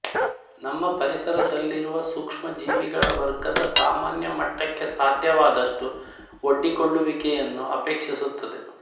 ನಮ್ಮ ಪರಿಸರದಲ್ಲಿರುವ ಸೂಕ್ಷ್ಮಜೀವಿಗಳ ವರ್ಗದ ಸಾಮಾನ್ಯ ಮಟ್ಟಕ್ಕೆ ಸಾಧ್ಯವಾದಷ್ಟು ಒಡ್ಡಿಕೊಳ್ಳುವಿಕೆಯನ್ನು ಅಪೇಕ್ಷಿಸುತ್ತದೆ